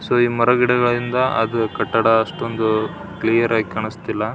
So ಈ ಮರ ಗಿಡಗಳಿಂದ ಅದು ಕಟ್ಟಡ ಅಷ್ಟೊಂದು ಕ್ಲಿಯರ್ ಆಗಿ ಕಾಣಿಸ್ತಿಲ್ಲ.